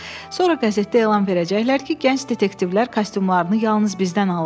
Sonra qəzetdə elan verəcəklər ki, gənc detektivlər kostyumlarını yalnız bizdən alırlar.